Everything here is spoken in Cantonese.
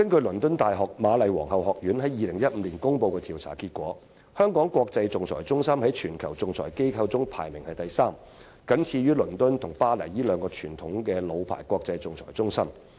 倫敦大學瑪麗皇后學院在2015年公布的調查結果顯示，香港國際仲裁中心在全球仲裁機構中排名第三，僅次於倫敦和巴黎這兩個傳統老牌國際仲裁中心。